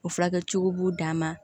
O furakɛ cogo b'u dan ma